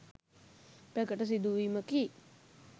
ප්‍රකට සිදුවීමකි.